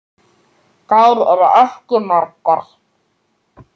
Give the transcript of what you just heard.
Þær eru ekki margar.